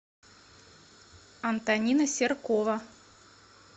антонина серкова